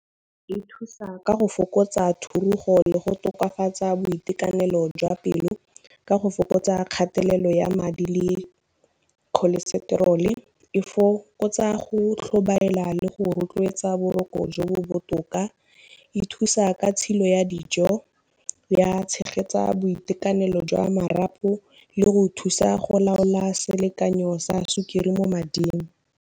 E thusa ka go fokotsa thurugo le go tokafatsa boitekanelo jwa pelo, ka go fokotsa kgatelelo ya madi le cholestrol-e. E fokotsa go tlhobaela le go rotloetsa boroko jo bo botoka, e thusa ka tshilo ya dijo, ya tshegetsa boitekanelo jwa marapo le go thusa go laola selekanyo sa sukiri mo mading.